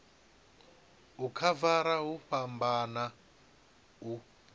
u khavara hu fhambana u